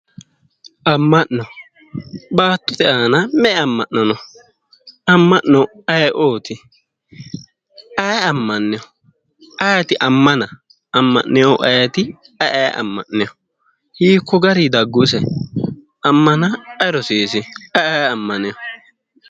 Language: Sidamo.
amma'no baattote aana me''e amma'no no? amm'no ayiooti? ayi ammanoyi ayiti ammana? amma'neehu ayiti? ayi aye amma'neho? hiikko garii daggu ise ayi rosiisi? ayi aye ammaneho?